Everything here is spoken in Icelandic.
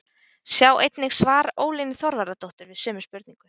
Sjá einnig svar Ólínu Þorvarðardóttur við sömu spurningu.